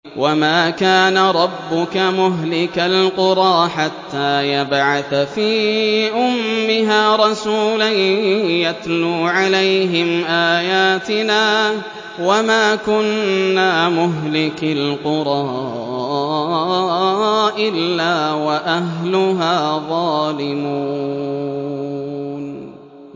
وَمَا كَانَ رَبُّكَ مُهْلِكَ الْقُرَىٰ حَتَّىٰ يَبْعَثَ فِي أُمِّهَا رَسُولًا يَتْلُو عَلَيْهِمْ آيَاتِنَا ۚ وَمَا كُنَّا مُهْلِكِي الْقُرَىٰ إِلَّا وَأَهْلُهَا ظَالِمُونَ